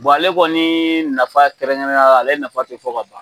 Bɔn ale kɔni nafa kɛrɛn kɛrɛnnen yala ale nafa te fɔ ka ban